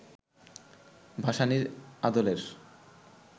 ভাসানীর আদলের